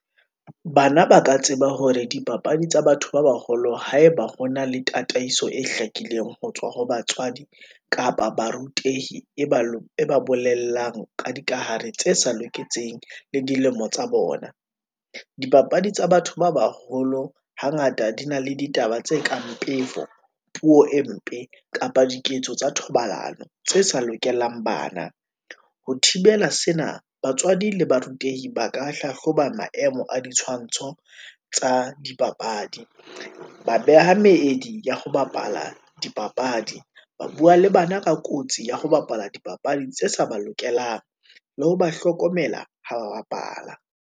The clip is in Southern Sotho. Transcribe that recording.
Bana ba ka tseba hore dipapadi tsa batho ba baholo, haeba ho na le tataiso e hlakileng ho tswa ho batswadi, kapa barutehi e ba bolelang ka dikahare tse sa loketseng le dilemo tsa bona. Dipapadi tsa batho ba baholo hangata di na le ditaba tse kang pefo, puo e mpe kapa diketso tsa thobalano, tse sa lokelang bana. Ho thibela sena, batswadi le barutehi ba ka hlahloba maemo a ditshwantsho tsa dipapadi, ba beha meedi ya ho bapala dipapadi, ba bua le bana ka kotsi ya ho bapala dipapadi tse sa ba lokelang, le ho ba hlokomela ha ba bapala.